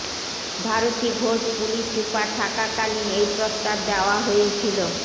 Bharati Ghosh police super থাকাকালীন এই প্রস্তাব দেওয়া হয়েছিল